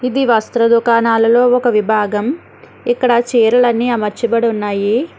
ఇది వస్త్ర దుకాణాలలో ఒక విభాగం ఇక్కడ చీరలన్నీ అమర్చబడి ఉన్నాయి.